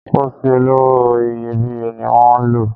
Pósí olówó iyebíye ni wan lò